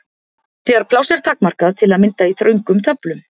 Þegar pláss er takmarkað, til að mynda í þröngum töflum.